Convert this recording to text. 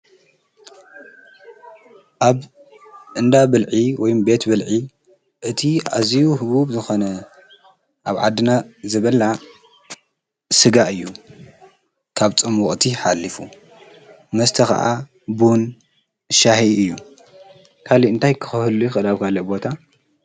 ኣብ እንዳ ብልዒ ወይም ቤት ብልዒ እቲ ኣዝዩ ህቡብ ዝኾነ ኣብ ዓድና ዝብላዕ ስጋ እዩ። ካብ ፆም ወቕቲ ሓሊፉ መስተ ኸኣ ቡን ሻሂ እዩ ። ካልእ እንታይ ክህሉ ይኽእል ኣብ ካልእ ቦታ?